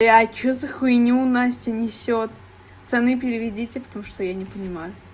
а что за хуйню настя несёт пацаны переведите потому что я не понимаю